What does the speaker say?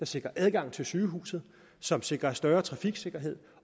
sikrer adgang til sygehuset som sikrer større trafiksikkerhed